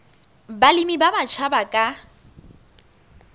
balemi ba batjha ba ka